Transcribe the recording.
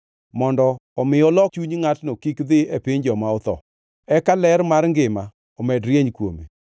mondo omi olok chuny ngʼatno kik dhi e piny joma otho, eka ler mar ngima omed rieny kuome.